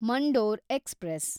Mandore express